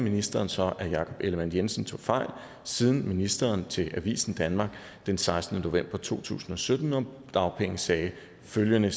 ministeren så at jakob ellemann jensen tog fejl siden ministeren til avisen danmark den sekstende november to tusind og sytten om dagpenge sagde følgende